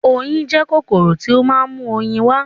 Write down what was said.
Oyin jẹ́ kòkòrò tí ó ma ń mú oyin wá